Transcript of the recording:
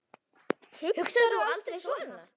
Hugsar þú aldrei svona?